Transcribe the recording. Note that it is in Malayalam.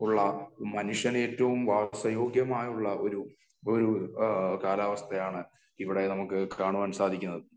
ഉള്ള മനുഷ്യനേറ്റവും വാസയോഗ്യമുള്ള ഒരു കാലാവസ്ഥയാണ് ഇവിടെ നമുക്ക് കാണാൻ സാധിക്കുന്നത് .